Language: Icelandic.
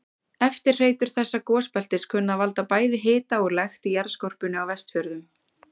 Eftirhreytur þessa gosbeltis kunna að valda bæði hita og lekt í jarðskorpunni á Vestfjörðum.